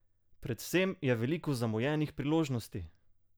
Predvsem je veliko zamujenih priložnosti!